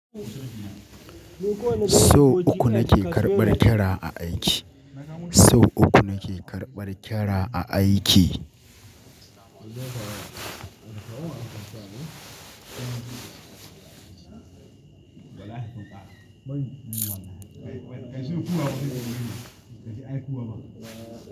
So uku nake karɓar kira a aiki. Sau uku nake karɓar kyara a aiki.